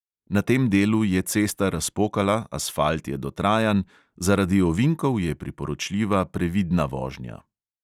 Na tem delu je cesta razpokala, asfalt je dotrajan, zaradi ovinkov je priporočljiva previdna vožnja.